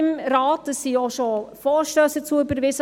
Es wurden auch schon Vorstösse dazu überwiesen.